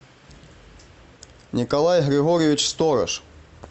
николай григорьевич сторож